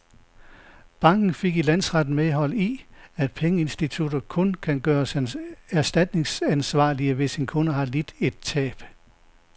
Banken fik i landsretten medhold i, at pengeinstitutter kun kan gøres erstatningsansvarlige, hvis en kunde har lidt et tab.